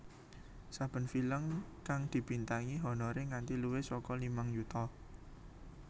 Saben film kang dibintangi honoré nganti luwih saka limang yuta